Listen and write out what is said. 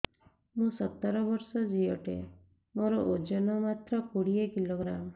ମୁଁ ସତର ବର୍ଷ ଝିଅ ଟେ ମୋର ଓଜନ ମାତ୍ର କୋଡ଼ିଏ କିଲୋଗ୍ରାମ